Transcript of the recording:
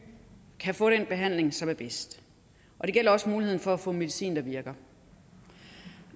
kan få den behandling som er bedst det gælder også muligheden for at få medicin der virker